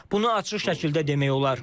Bunu açıq şəkildə demək olar.